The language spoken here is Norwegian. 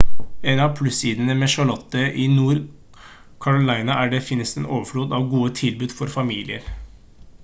en av plussidene med charlotte i nord-carolina er at det finnes en overflod av gode tilbud for familier